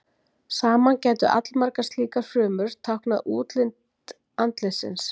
Saman gætu allmargar slíkar frumur táknað útlit andlitsins.